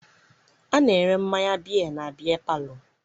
A na-ere mmanya biya na biya palọ.